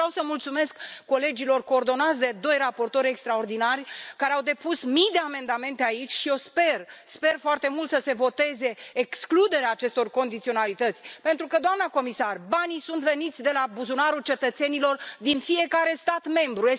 Eu vreau să le mulțumesc colegilor coordonați de doi raportori extraordinari, care au depus mii de amendamente aici și eu sper, sper foarte mult, să se voteze excluderea acestor condiționalități, pentru că, doamnă comisar, banii sunt veniți din buzunarul cetățenilor din fiecare stat membru.